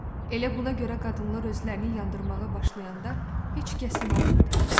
Elə buna görə qadınlar özlərini yandırmağa başlayanda heç kəs inanmadı.